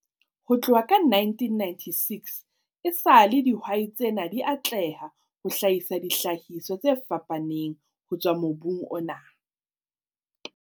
Ho tloha ka 1996 esale dihwai tsena di atleha ho hlahisa dihlahiswa tse fapaneng ho tswa mobung ona.